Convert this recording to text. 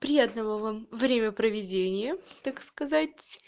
приятного вам время проведения так сказать